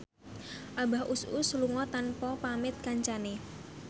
Abah Us Us lunga tanpa pamit kancane